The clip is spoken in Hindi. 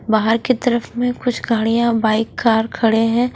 बाहर की तरफ में कुछ गाड़ियां बाइक कार खड़े हैं।